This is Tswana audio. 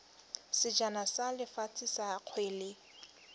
sejana sa lefatshe sa kgwele